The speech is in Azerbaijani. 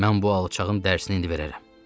Mən bu alçağın dərsini indi verərəm!